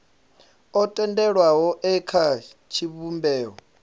o tendelwaho e kha tshivhumbeo